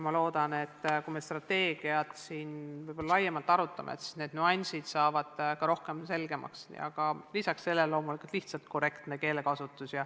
Ma loodan, et kui me siin strateegiat laiemalt arutame, siis saavad need nüansid ka rohkem selgeks ja lisaks paraneb loomulikult korrektne keelekasutus.